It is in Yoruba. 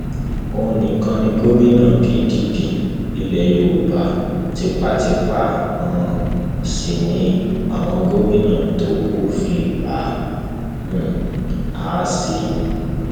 òun nìkan ni gómìnà pdp ilẹ yorùbá tipátipá um sí ni àwọn gómìnà tó kù fi ń bá um a ṣe